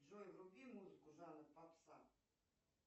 джой вруби музыку жанр попса